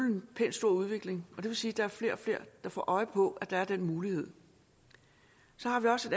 en pænt stor udvikling og det vil sige at der er flere og flere der får øje på at der er den mulighed så har vi også